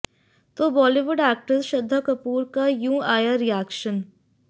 तो बॉलीवुड एक्ट्रेस श्रद्धा कपूर का यूं आया रिएक्शन